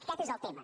aquest és el tema